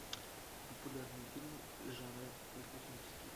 популярные фильмы жанра приключенческий